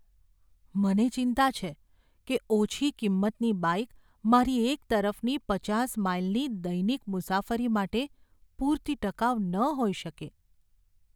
મને ચિંતા છે કે ઓછી કિંમતની બાઈક મારી એક તરફની પચાસ માઈલની દૈનિક મુસાફરી માટે પૂરતી ટકાઉ ન હોઈ શકે.